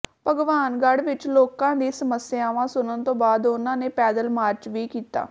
ਭਗਵਾਨਗੜ੍ਹ ਵਿੱਚ ਲੋਕਾਂ ਦੀਆਂ ਸਮੱਸਿਆਵਾਂ ਸੁਣਨ ਤੋਂ ਬਾਅਦ ਉਨ੍ਹਾਂ ਨੇ ਪੈਦਲ ਮਾਰਚ ਵੀ ਕੀਤਾ